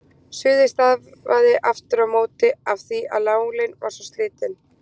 Suðið stafaði aftur á móti af því að nálin var svo slitin.